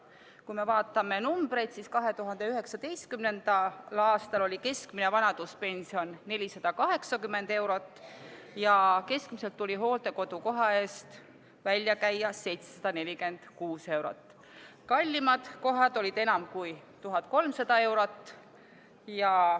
Kui me vaatame arve, siis 2019. aastal oli keskmine vanaduspension 480 eurot ja keskmiselt tuli hooldekodukoha eest välja käia 746 eurot, kallimad kohad maksid aga enam kui 1300 eurot.